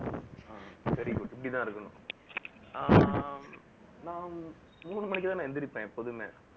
very good இப்படித்தான் இருக்கணும். ஆஹ் நான் மூணு மணிக்கு தான் நான் எந்திரிப்பேன் எப்போதுமே